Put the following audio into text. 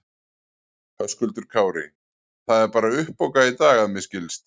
Höskuldur Kári: Það er bara uppbókað í dag að mér skilst?